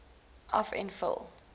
af en vul